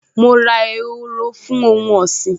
Mo ra ehoro fún ohun ọ̀sìn